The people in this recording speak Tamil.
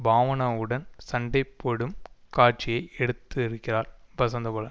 பாவனாவுடன் சண்டை போடும் காட்சியை எடுத்திருக்கிறார் வசந்தபாலன்